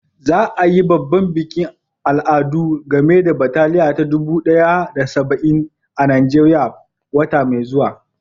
Za a yi babban bikin al'adu game da bataliya ta dubu ɗaya da saba'in a Najeriya wata mai zuwa.